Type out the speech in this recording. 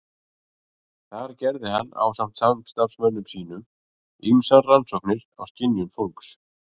Þar gerði hann ásamt samstarfsmönnum sínum ýmsar rannsóknir á skynjun fólks.